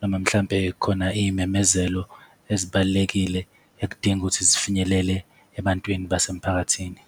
noma mhlampe khona izimemezelo ezibalulekile, ekudinga ukuthi zifinyelele ebantwini basemphakathini.